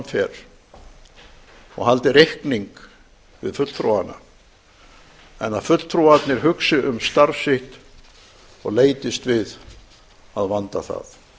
fer og haldi reikníng við fulltrúana enn að fulltrúarnir hugsi um starf sitt og leitist við að vanda það